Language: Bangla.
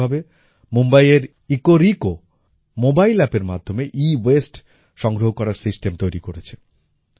অনুরূপভাবে মুম্বইয়ের ইকোরিকো ইকোরেকো মোবাইল অ্যাপের মাধ্যমে এওয়াসতে সংগ্রহ করার সিস্টেম তৈরি করেছে